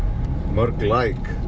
mörg like